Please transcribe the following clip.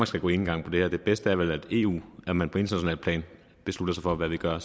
skal gå enegang på det her det bedste er vel at man på internationalt plan beslutter sig for hvad vi gør